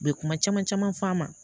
U bɛ kuma caman caman f'a ma